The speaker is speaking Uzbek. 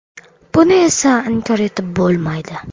Buni esa inkor etib bo‘lmaydi.